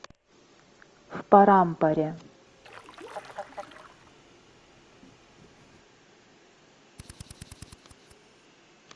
в парампаре